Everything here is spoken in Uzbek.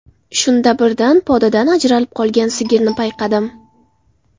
Shunda birdan podadan ajralib qolgan sigirni payqadim.